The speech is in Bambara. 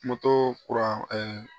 kuran